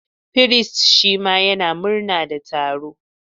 Firist shima yana murna da taro.